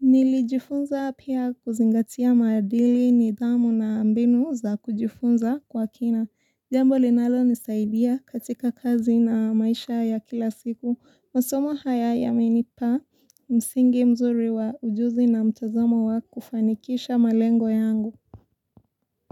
Nilijifunza pia kuzingatia maadili nidhamu na mbinu za kujifunza kwa kina. Jambo linalonisaidia katika kazi na maisha ya kila siku. Masomo haya yamenipa msingi mzuri wa ujuzi na mtazamo wa kufanikisha malengo yangu.